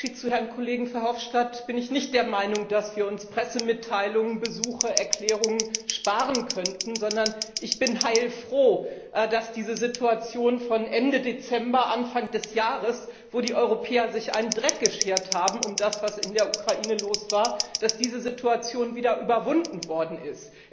Im Unterschied zu Herrn Kollegen Verhofstadt bin ich nicht der Meinung, dass wir uns Pressemitteilungen, Besuche, Erklärungen sparen könnten, sondern ich bin heilfroh, dass diese Situation von Ende Dezember Anfang des Jahres, wo die Europäer sich einen Dreck geschert haben um das, was in der Ukraine los war, wieder überwunden worden ist.